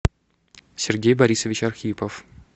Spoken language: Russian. сергей борисович архипов